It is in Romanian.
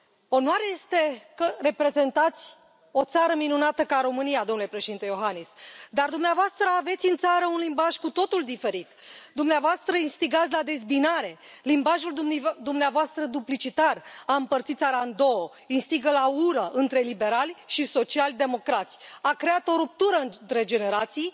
Onoare este că reprezentați o țară minunată ca România, domnule Președinte Iohannis, dar dumneavoastră aveți în țară un limbaj cu totul diferit, dumneavoastră instigați la dezbinare, limbajul dumneavoastră duplicitar a împărțit țara în două, instigă la ură între liberali și social democrați, a creat o ruptură între generații,